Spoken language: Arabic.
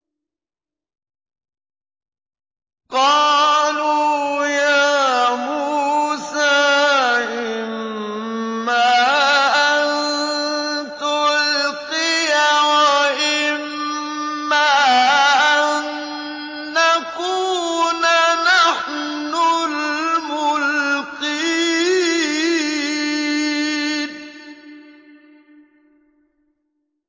قَالُوا يَا مُوسَىٰ إِمَّا أَن تُلْقِيَ وَإِمَّا أَن نَّكُونَ نَحْنُ الْمُلْقِينَ